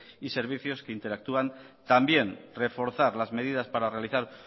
y servicios que interactúan también reforzar las medidas para realizar